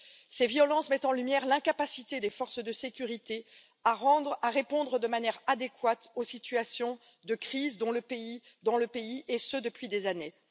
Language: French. Ces violences mettent en lumière l'incapacité des forces de sécurité à répondre de manière adéquate aux situations de crise dans le pays et ce, depuis des années.